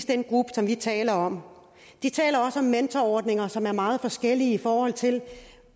den gruppe som vi taler om de taler også om mentorordninger som er meget forskellige i forhold til